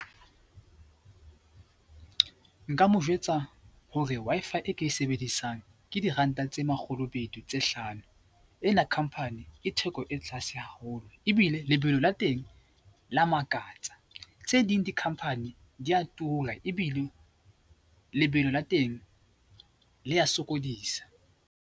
Nka mo jwetsa hore Wi-Fi e ke e sebedisang ke diranta tse makgolo tse hlano. E na company ke theko e tlaase haholo ebile lebelo la teng la makatsa. Tse ding di-company di a tura ebile lebelo la teng le ya sokodisa.